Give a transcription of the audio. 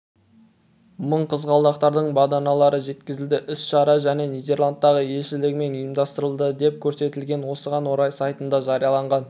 мың қызғалдақтардың баданалары жеткізілді іс-шара және нидерландтағы елшілігімен ұйымдастырылды деп көрсетілген осыған орай сайтында жарияланған